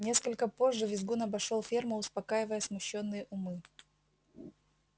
несколько позже визгун обошёл ферму успокаивая смущённые умы